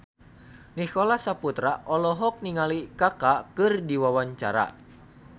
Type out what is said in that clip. Nicholas Saputra olohok ningali Kaka keur diwawancara